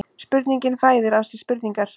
Spurningin fæðir af sér spurningar